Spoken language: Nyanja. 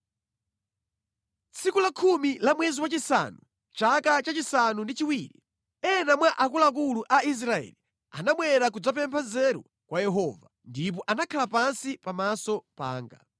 Tsiku lakhumi la mwezi wachisanu, chaka chachisanu ndi chiwiri, ena mwa akuluakulu a Israeli anabwera kudzapempha nzeru kwa Yehova, ndipo anakhala pansi pamaso panga.